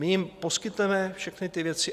My jim poskytneme všechny ty věci.